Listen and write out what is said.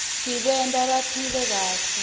tbanta baphile kahle